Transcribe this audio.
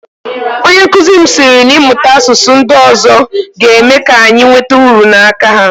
Onyenkụzi m sịrị na ịmụta asụsụ ndị ọzọ ga-eme ka anyị nweta uru n'aka ha